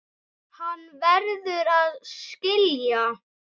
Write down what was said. Hann verður að skilja.